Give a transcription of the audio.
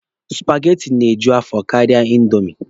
Supageti na-eju afọ karịa indomi.